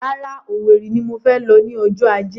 Rárá, Owerri ni mo fẹ lọ ní ọjọ́ ajé